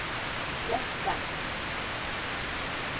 Kleppe